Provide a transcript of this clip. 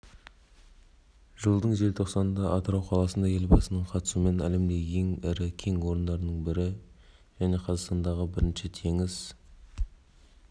жылдың желтоқсанында атырау қаласында елбасының қатысуымен әлемдегі ең ірі кен орындарының бірі және қазақстандағы бірінші теңіз